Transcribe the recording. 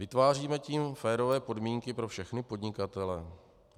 Vytváříme tím férové podmínky pro všechny podnikatele?